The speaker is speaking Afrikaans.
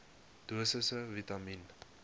dosisse vitamien